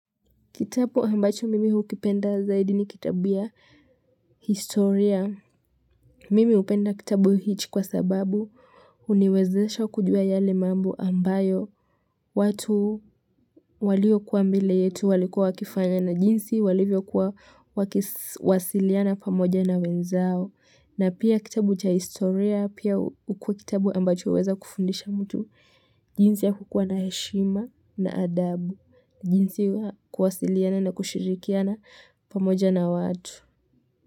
Kitabu ambacho mimi hukipenda zaidi ni kitabu ya historia. Mimi hupenda kitabu hichi kwa sababu huniwezesha kujua yale mambo ambayo watu waliyokua mbele yetu walikuwa wakifanya na jinsi walivyokuwa wakiwasiliana pamoja na wenzao. Na pia kitabu cha historia, pia hukua kitabu ambacho huweza kufundisha mtu, jinsi ya kukua na heshima na adabu, jinsi ya kuwasiliana na kushirikiana pamoja na watu.